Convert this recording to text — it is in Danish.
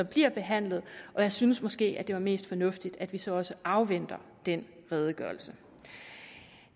bliver behandlet og jeg synes måske at det mest fornuftige at vi så også afventede denne redegørelse